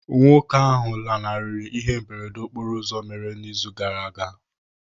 Nwoke ahụ lanarịrị ihe mberede okporo ụzọ mere ịzụ ụka gara aga.